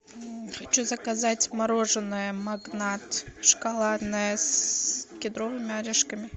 хочу заказать мороженое магнат шоколадное с кедровыми орешками